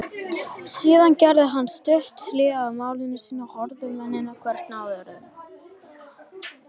Síðan gerði hann stutt hlé á máli sínu og horfði á mennina hvern af öðrum.